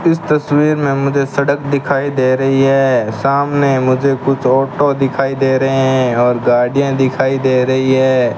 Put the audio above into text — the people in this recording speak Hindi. इस तस्वीर में मुझे सड़क दिखाई दे रही है सामने मुझे कुछ ऑटो दिखाई दे रहे हैं और गाड़ियां दिखाई दे रही है।